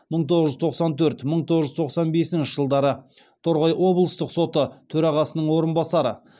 мың тоғыз жүз тоқсан төрт мың тоғыз жүз тоқсан бесінші жылдары торғай облыстық соты төрағасының орынбасары